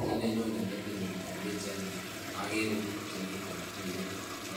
kii ne nyone metinyu eng bichaini agere biik chemiten tuiyet